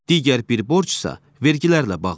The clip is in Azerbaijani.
Digər bir borc isə vergilərlə bağlıdır.